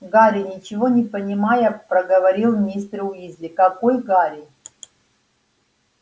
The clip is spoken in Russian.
гарри ничего не понимая проговорил мистер уизли какой гарри